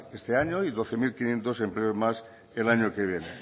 este año y doce mil quinientos empleos más el año que viene